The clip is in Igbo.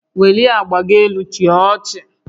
Welie agba gị elu chịa ọchị